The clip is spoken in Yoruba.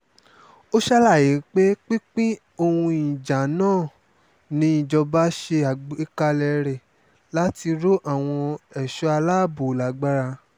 ó ṣàlàyé pé pinpin ohun ìjà náà níjọba ṣe àgbékalẹ̀ rẹ̀ láti rọ àwọn ẹ̀ṣọ́ aláàbò lágbára